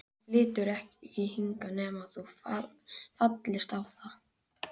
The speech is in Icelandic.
Hann flytur ekki hingað nema þú fallist á það.